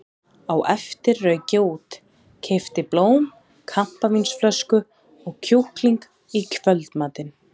Á eftir rauk ég út, keypti blóm, kampavínsflösku og kjúkling í kvöldmatinn.